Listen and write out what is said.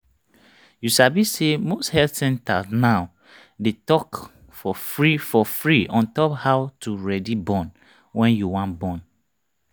you sabi say most health centers now they talk for free for free ontop how to ready born wen you wan born